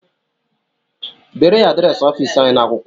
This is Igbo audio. Deere ya adịresị ọfịịsị anyị n'akwụkwọ!